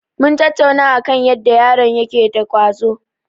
Mun tattauna akan yadda yaron yake da ƙwazo.